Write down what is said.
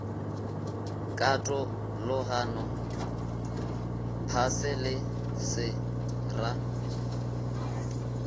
katologano phase se se ra